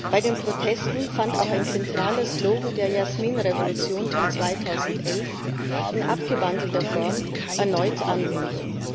Bei den Protesten fand auch ein zentraler Slogan der Jasminrevolution von 2011 in abgewandelter Form erneut Anwendung.